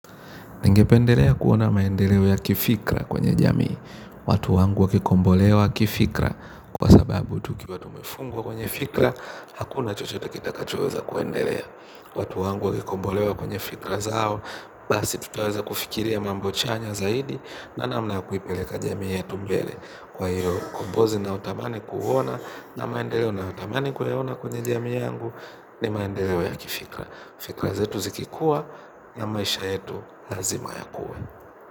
Ningependelea kuona maendeleo ya kifikra kwenye jamii. Watu wangu wakikombolewa kifikra kwa sababu tukiwa tumifungwa kwenye fikra. Hakuna chochote kitakachoweza kuendelea. Watu wangu wakikombolewa kwenye fikra zao. Basi tutaweza kufikiria mambo chanya zaidi. Na namna ya kuipeleka jamii yetu mbele. Kwa hiyo ukombozi nayo tamani kuona na maendeleo nayotamani kuona kwenye jamii yangu ni maendeleo ya kifikra. Fikra zetu zikikuwa na maisha yetu lazima yakuwe.